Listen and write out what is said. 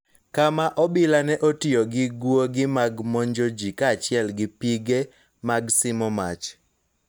Kama obila ne otiyo gi guogi mag monjoji kaachiel gi pige mag simo mach